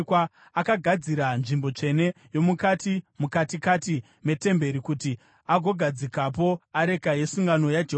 Akagadzira nzvimbo tsvene yomukati, mukatikati metemberi, kuti agogadzikapo areka yesungano yaJehovha.